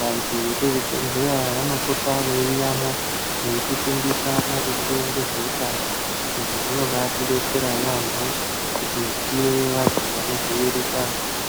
vantu vemuzvibhedhlera vanopota veuyemo veipota vachitifundisa maringe Nezvehutano izvi zvinobatidetsera yambo kuti tive vanhu vanodzivurika.